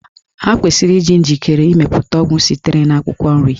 Ha kwesịrị ịdị njikere ịmepụta ọgwụ sitere na akwụkwọ nri